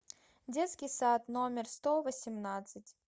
детский сад номер сто восемнадцать